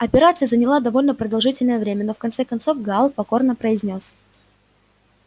операция заняла довольно продолжительное время но в конце концов гаал покорно произнёс